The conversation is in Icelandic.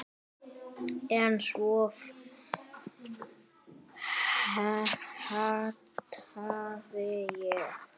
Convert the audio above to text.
En svo fattaði ég.